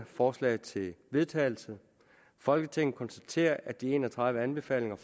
forslag til vedtagelse folketinget konstaterer at de en og tredive anbefalinger